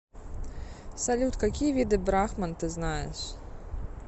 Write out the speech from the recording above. салют какие виды брахман ты знаешь